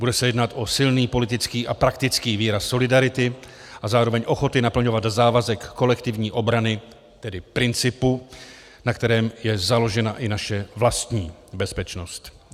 Bude se jednat o silný politický a praktický výraz solidarity a zároveň ochoty naplňovat závazek kolektivní obrany, tedy principu, na kterém je založena i naše vlastní bezpečnost.